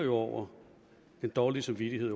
over den dårlige samvittighed